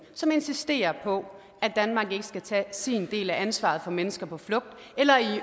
som insisterer på at danmark ikke skal tage sin del af ansvaret for mennesker på flugt